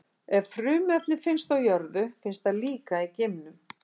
Ef frumefni finnst á jörðu, finnst það líka í geimnum.